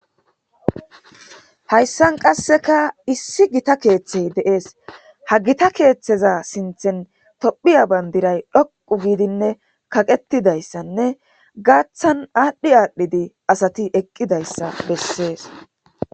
hayssan qasseka issi gita keeththey deees ha gita keeththeza sinthen tophiya bandiray dhoqu giidinne kaqetidayssanne gaaththan aadhdhi aadhdhidi asati eqqidayssa bessees